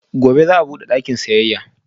Gobe ​​za'a bude shagon siyayya